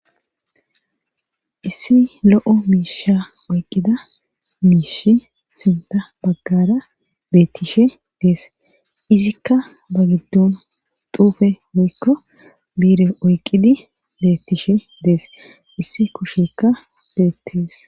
Issi lo7o miisha oyqida miishi sinta baggara beettishe dees izikka ba giddon duufe woykko biire oyqqidi beettishe dees issi koshekka beettees.